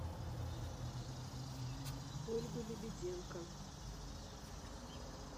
ольгу лебеденко